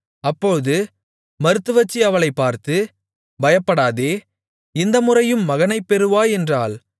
அப்போது மருத்துவச்சி அவளைப் பார்த்து பயப்படாதே இந்த முறையும் மகனைப் பெறுவாய் என்றாள்